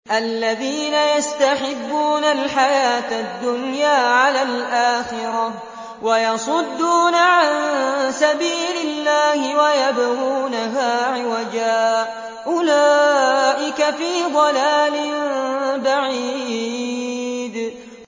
الَّذِينَ يَسْتَحِبُّونَ الْحَيَاةَ الدُّنْيَا عَلَى الْآخِرَةِ وَيَصُدُّونَ عَن سَبِيلِ اللَّهِ وَيَبْغُونَهَا عِوَجًا ۚ أُولَٰئِكَ فِي ضَلَالٍ بَعِيدٍ